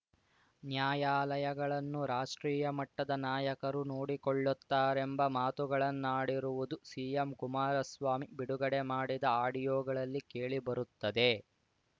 ನ್ಯಾಯಾಲಯಗಳನ್ನು ರಾಷ್ಟ್ರೀಯ ಮಟ್ಟದ ನಾಯಕರು ನೋಡಿಕೊಳ್ಳುತ್ತಾರೆಂಬ ಮಾತುಗಳನ್ನಾಡಿರುವುದು ಸಿಎಂ ಕುಮಾರಸ್ವಾಮಿ ಬಿಡುಗಡೆ ಮಾಡಿದ ಆಡಿಯೋಗಳಲ್ಲಿ ಕೇಳಿ ಬರುತ್ತದೆ